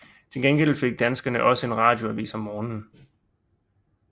Til gengæld fik danskerne også en radioavis om morgenen